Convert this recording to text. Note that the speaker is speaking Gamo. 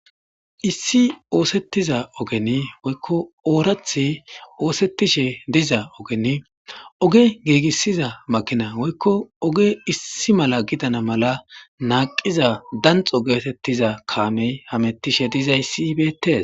Issi osetiza ogeni woyko orathi osetishe diza ogeni oge gigisiza makina woyko oge issi mala gidana mala naqiza danxo getetiza kamey hametishe dizaysi beets.